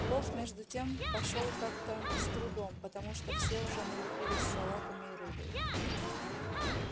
плов между тем пошёл как-то с трудом потому что все уже налупились салатами и рыбой